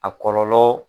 A kɔlɔlɔ